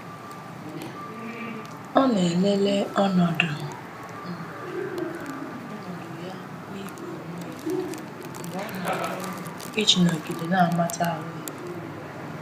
Ọ na-elele ọnọdụ um ya na iku ume mgbe ọ na-arụ ọrụ iji nọgide na-amata ahụ ya.